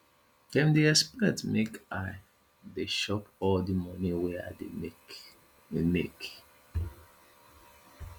dem dey expect make i dey chop all di moni wey i dey make make